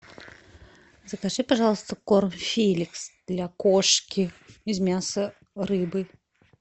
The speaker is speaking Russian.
закажи пожалуйста корм феликс для кошки из мяса рыбы